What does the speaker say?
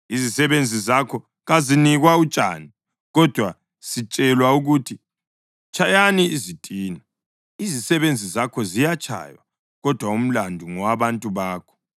Izisebenzi zakho kazinikwa utshani, kodwa sitshelwa ukuthi, ‘Tshayani izitina!’ Izisebenzi zakho ziyatshaywa, kodwa umlandu ngowabantu bakho.”